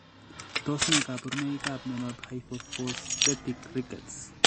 Tos ne kaborunoikap miondop Hypophosphatemic rickets